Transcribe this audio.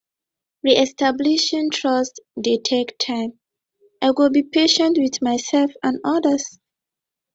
reestablishing trust dey take time i go be patient with myself and others